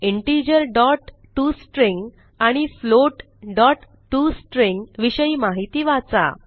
integerटॉस्ट्रिंग आणि floatटॉस्ट्रिंग विषयी माहिती वाचा